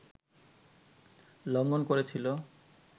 লংঘন করেছিল